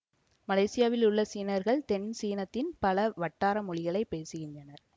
மலேசியாவிலுள்ள சீனர்கள் தென் சீனத்தின் பல வட்டார மொழிகளை பேசுகின்றனர்